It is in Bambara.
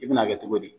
I bɛna kɛ cogo di